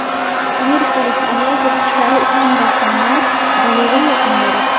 Amerikalik ayol to‘tiqushlari uchun rasmlar galereyasini yaratdi.